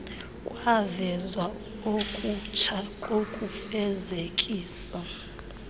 kwavezwa okutsha kokufezekisa